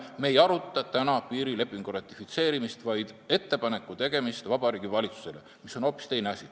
Me ei aruta täna piirilepingu ratifitseerimist, vaid ettepaneku tegemist Vabariigi Valitsusele, mis on hoopis teine asi.